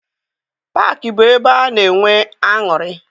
Paakị bụ ebe a na-enwe aṅụrị.